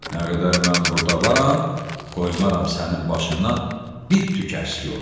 Nə qədər mən burda varam, qoymaram sənin başından bir tük əksiy ola.